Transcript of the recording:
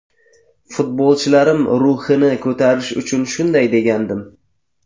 Futbolchilarim ruhini ko‘tarish uchun shunday degandim.